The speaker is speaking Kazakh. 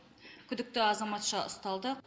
күдікті азаматша ұсталды